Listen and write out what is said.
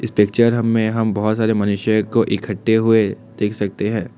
Picture हम में हम बहुत सारे मनुष्य को इकट्ठे हुए देख सकते हैं।